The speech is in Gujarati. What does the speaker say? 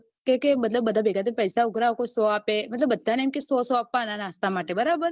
કે કે બધા પૈસા ઉઘરાવે કોઈ સો આપે કોઈ મતલબ બધા ને સો સો આપવા ના નાસ્તા માટે બરાબર